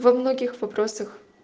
во многих вопросах